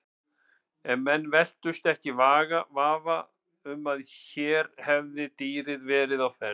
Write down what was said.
En menn velktust ekki í vafa um að hér hefði dýrið verið á ferð.